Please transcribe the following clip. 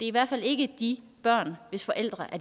i hvert fald ikke de børn hvis forældre